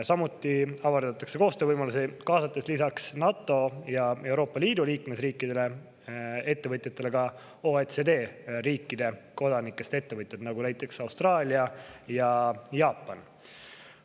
Samuti avardatakse koostöövõimalusi, kaasates lisaks NATO ja Euroopa Liidu liikmesriikidele ja ettevõtjatele OECD riikide kodanikest ettevõtjaid, näiteks ettevõtjaid Austraaliast ja Jaapanist.